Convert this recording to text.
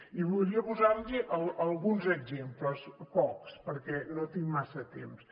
i voldria posar los alguns exemples pocs perquè no tinc massa temps